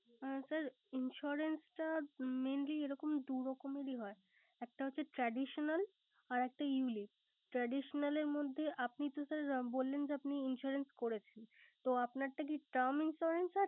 আ sir Insurance টা mainly এরকম দু ধরনের হয়। একটা হচ্ছে traditional আরকটা ulip । traditional এর মধ্যে আপনি তো sir বললেন তো sirinsurance করছেনে। তো আপনারটা কি term insurance